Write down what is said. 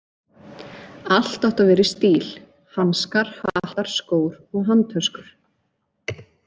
Allt átti að vera í stíl: hanskar, hattar, skór og handtöskur.